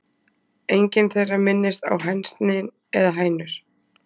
Engin þeirra minnist á hænsni eða hænur.